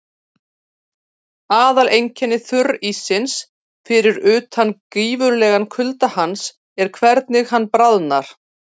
Aðaleinkenni þurríssins, fyrir utan gífurlegan kulda hans, er hvernig hann bráðnar.